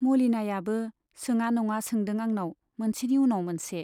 मलिनायाबो सोङा नङा सोंदों आंनाव मोनसेनि उनाव मोनसे।